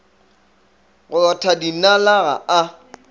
go rotha dinala ga a